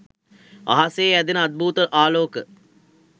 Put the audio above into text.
අහසේ ඇදෙන අද්භූත ආලෝක